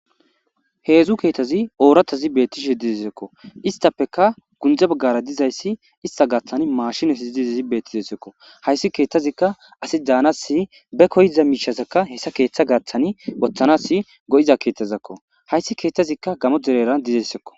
heedzu keetazi ooratazi beettishe didesekko istappeka gundze baggara dizayssi ista gaaththani maashinasi dizezi beettizesekko hayssi keeththazikka asi daanasi be koyiza miishasekka hessa keeththa gaaththani wothanasi go7iza keeththazakko hayssi keeththazikka gamo dereran dizessekko